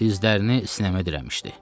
Dizlərini sinəmə dirəmişdi.